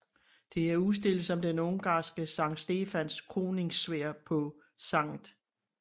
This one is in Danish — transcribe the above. Det er udstillet som den ungarske Sankt Stefans kroningssværd på St